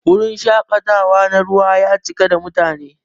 Wurin shakatawa na ruwa ya cika da mutane.